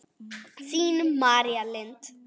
Þín, María Lind.